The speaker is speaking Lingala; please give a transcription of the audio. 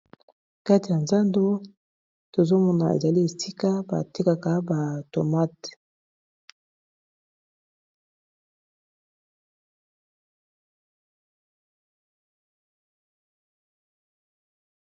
Kati ya nzando tozomona ezali esika batekaka ba tomate.